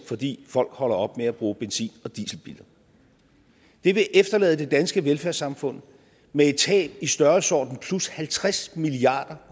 fordi folk holder op med at bruge benzin og dieselbiler det vil efterlade det danske velfærdssamfund med et tab i størrelsesordenen plus halvtreds milliard